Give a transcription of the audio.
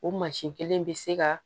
O mansin kelen in bɛ se ka